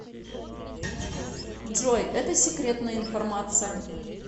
джой это секретная информация